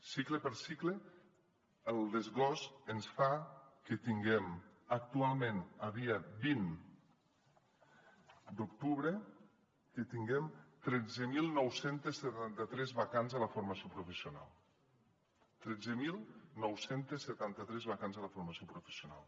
cicle per cicle el desglossament ens fa que tinguem actualment a dia vint d’octubre tretze mil nou cents i setanta tres vacants a la formació professional tretze mil nou cents i setanta tres vacants a la formació professional